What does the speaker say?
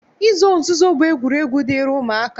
Izo nzuzo bụ egwuregwu dịịrị ụmụaka